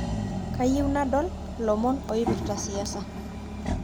kayieu nadol lomon oipirta siasa